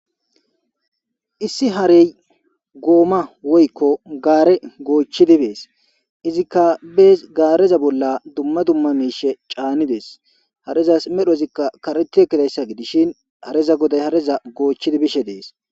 Issi harey gooma woykko gaare goochchidi bees izikka bees gaareza bolla dumma dumma miishe caani dees harezas medho izikka kareti ekkidayssa gidishin hareza goday hareza goochchidi bishe dees.